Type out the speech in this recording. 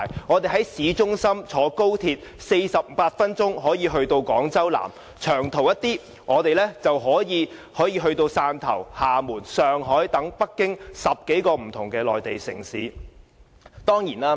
我們在香港市中心乘坐高鐵 ，48 分鐘可以到達廣州南，較長途的可以到達汕頭、廈門、上海和北京等10多個不同的內地城市。